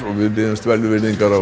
við biðjumst velvirðingar á